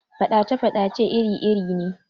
Faɗace-faɗace iri irin ne